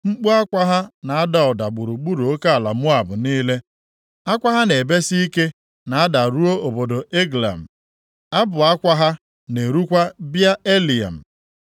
Mkpu akwa ha na-ada ụda gburugburu oke ala Moab niile; akwa ha na-ebesi ike na-ada ruo obodo Eglaim; abụ akwa ha na-erukwa Bịa-Elim.